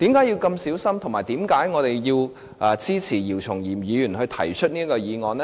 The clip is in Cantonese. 以及為何我們支持姚松炎議員提出這項議案呢？